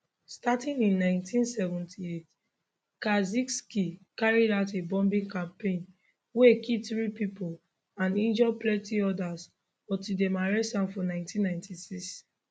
starting in 1978 kaczynski carry out a bombing campaign wey kill three people and injure plenty others until dem arrest am for 1996